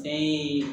Fɛn ye